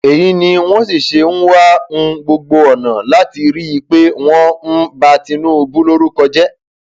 èyí ni wọn sì ṣe ń wá um gbogbo ọnà láti rí i pé wọn um ba tinúbù lórúkọ jẹ